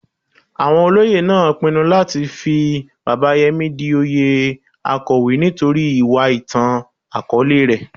Awon Olóyè naa pinnu lati fi Baba Yemi di oyè Akowe nitori iwa itan-akọọlẹ rẹ.